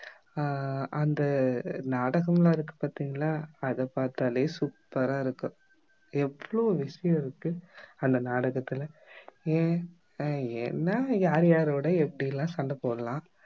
அஹ் அந்த நாடகம் எல்லாம் இருக்கு பார்த்தீங்களா அதை பார்த்தாலே super ஆ இருக்கும் எவ்ளோ விஷயம் இருக்கு அந்த நாடகத்துல ஏன் அஹ் ஏன்னா யார் யாரோட எப்படிலாம் சண்ட போடலாம்